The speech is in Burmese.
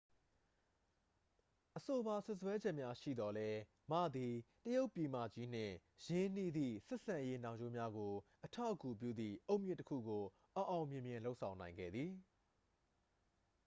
အဆိုပါ စွပ်စွဲချက်များရှိသော်လည်း မ သည် တရုတ်ပြည်မကြီးနှင့် ရင်းနှီးသည့် ဆက်ဆံရေးနှောင်ကြိုးများကို အထောက်အကူပြုသည့် အုတ်မြစ်တစ်ခုကို အောင်အောင်မြင်မြင် လုပ်ဆောင်နိုင်ခဲ့သည်